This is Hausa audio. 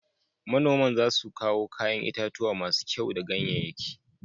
Manoman za su kawo kayan itatuwa masu kyau da ganyanyaki